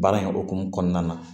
Baara in hokumu kɔnɔna na